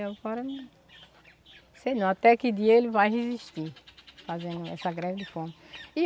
E agora... Sei não, até que dia ele vai resistir, fazendo essa greve de fome.